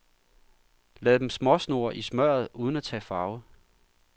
Lad dem småsnurre i smørret uden at tage farve.